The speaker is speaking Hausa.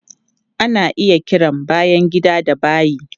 Ana iya kiran bayan gida da bayi.